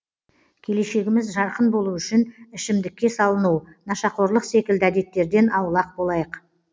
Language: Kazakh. келешегіміз жарқын болу үшін ішімдікке салыну нашақорлық секілді әдеттерден аулақ болайық